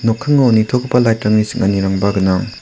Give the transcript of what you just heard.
nitogipa lait rangni ching·anirangba gnang.